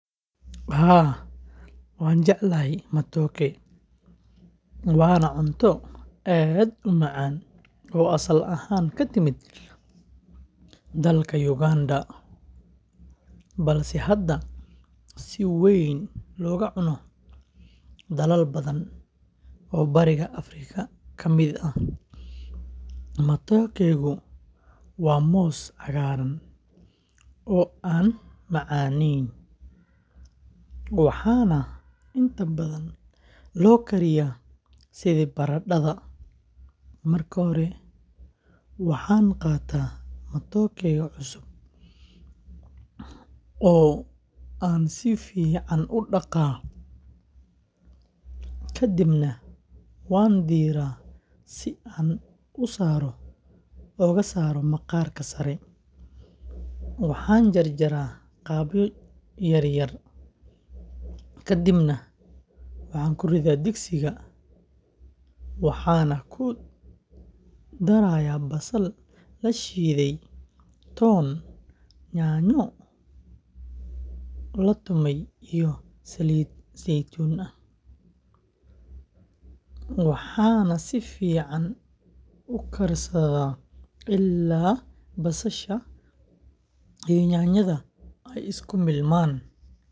Haa, waan jeclahay matookega, waana cunto aad u macaan oo asal ahaan ka timid dalka Uganda, balse hadda si weyn looga cuno dalal badan oo Bariga Afrika ah. Matookegu waa moos cagaaran oo aan macaaneyn, waxaana inta badan loo kariyaa sidii baradhada. Marka hore, waxaan qaataa matooke cusub oo aan si fiican u dhaqaa, ka dibna waan diiraa si aan u saaro maqaarka sare. Waxaan jarjaraa qaybo yaryar, kadibna ku riddaa digsiga, waxaana ku darayaa basal la shiiday, toon, yaanyo la tumay, iyo saliid saytuun ah. Waxaan si fiican u karsaa ilaa basasha iyo yaanyada ay isku milmaan.